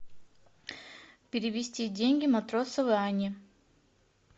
перевести деньги матросовой анне